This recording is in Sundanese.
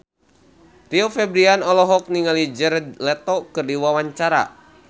Rio Febrian olohok ningali Jared Leto keur diwawancara